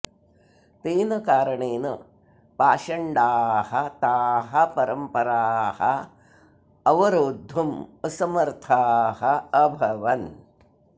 तेन कारणेन पाषण्डाः ताः परम्पराः अवरोद्धुम् असमर्थाः अभवन्